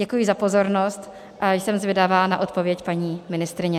Děkuji za pozornost a jsem zvědavá na odpověď paní ministryně.